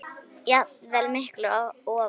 jafnvel miklu ofar.